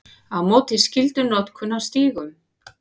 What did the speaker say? Á móti skyldunotkun á stígum